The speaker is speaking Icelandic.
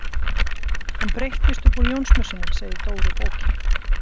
Hann breytist upp úr Jónsmessunni segir Dóri bóki.